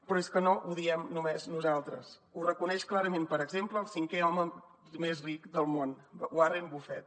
però és que no ho diem només nosaltres ho reconeix clarament per exemple el cinquè home més ric del món warren buffet